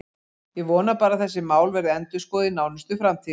Ég vona bara að þessi mál verði endurskoðuð í nánustu framtíð.